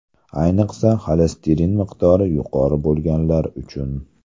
Ayniqsa, xolesterin miqdori yuqori bo‘lganlar uchun.